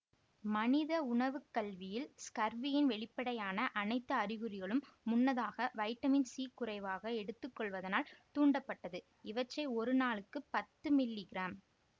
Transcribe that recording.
மனித உணவு கல்வியில் ஸ்கர்வியின் வெளிப்படையான அனைத்து அறிகுறிகளும் முன்னதாக வைட்டமின் சி குறைவாக எடுத்துக்கொள்வதனால் தூண்டப்பட்டது இவற்றை ஒரு நாளுக்கு பத்து மில்லி கிராம்